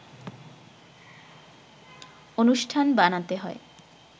অনুষ্ঠান বানাতে হয়